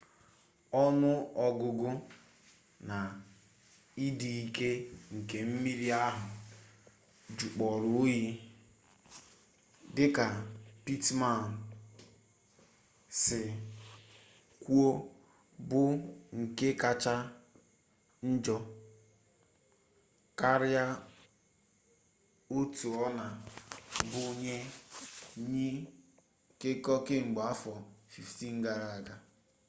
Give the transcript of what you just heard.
onu-ogugu na idi-ike nke mmiri ahu jukporo oyi dika pittman si kwuo bu nke kacha njo karia otu ona-adi nye nyi nkeko kemgbe afo 15 gara-aga